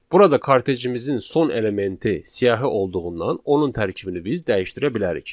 Burada kartejimizin son elementi siyahı olduğundan onun tərkibini biz dəyişdirə bilərik.